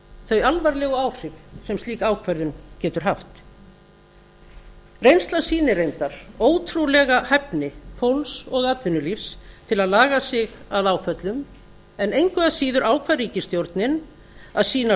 þau alvarlegu áhrif sem slík ákvörðun getur haft reynslan sýnir reyndar ótrúlega hæfni fólks og atvinnulífs til að laga sig að áföllum en engu að síður ákvað ríkisstjórnin að sýna